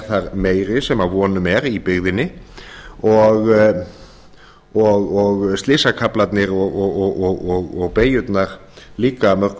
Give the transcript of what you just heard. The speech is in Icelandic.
þar meiri sem að vonum er í byggðinni og slysakaflarnir og beygjurnar líka að mörgu